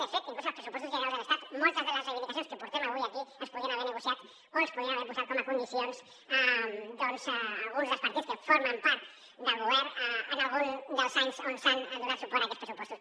de fet inclús als pressupostos generals de l’estat moltes de les reivindicacions que portem avui aquí les podien haver negociat o les podien haver posat com a condicions doncs alguns dels partits que formen part del govern en algun dels anys on s’ha donat suport a aquests pressupostos